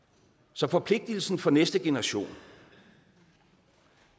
så forpligtelsen over for næste generation